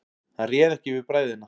Hann réð ekki við bræðina.